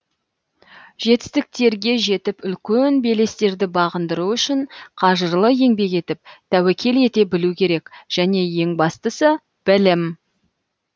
жетістіктерге жетіп үлкен белестерді бағындыру үшін қажырлы еңбек етіп тәуекел ете білу керек және ең бастысы білім